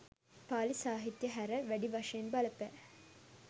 පාලි සාහිත්‍යය හැර, වැඩි වශයෙන් බලපෑ